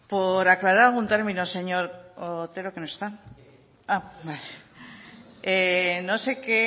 por aclarar un término señor otero no sé qué